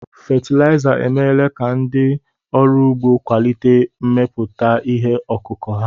Fatịlaịza emeela ka ndị ọrụ ugbó kwalite mmepụta ihe ọkụkụ̀ ha.